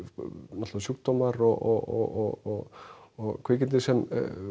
náttúrulega sjúkdómar og og kvikindi sem